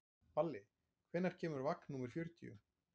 Balli, hvenær kemur vagn númer fjörutíu?